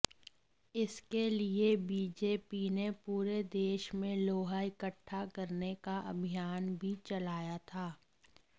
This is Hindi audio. इसके लिये बीजेपी ने पूरे देश में लोहा इकट्ठा करने का अभियान भी चलाया था